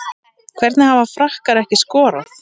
Hvernig hafa Frakkar ekki skorað?